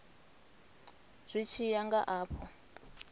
zwi tshi ya nga afho